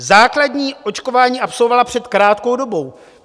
Základní očkování absolvovala před krátkou dobou.